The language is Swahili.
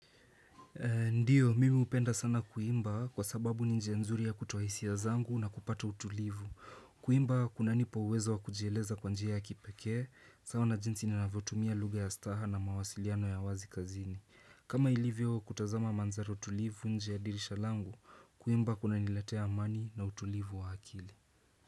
Ndio, mimi hupenda sana kuimba kwa sababu ni nje nzuri ya kutoa hisia zangu na kupata utulivu. Kuimba, kuna nipa uweza wa kujieleza kwa njia ya kipekee, sawa na jinsi ninavyotumia lugha ya staha na mawasiliano ya wazi kazini. Kama ilivyo, kutazama mandhara utulivu nje ya dirisha langu, kuimba kuna niletea amani na utulivu wa akili.